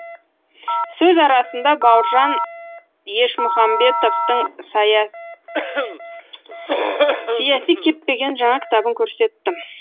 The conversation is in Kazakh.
сөз арасында бауыржан ешмұхамбетовтың сиясы кеппеген жаңа кітабын көрсеттім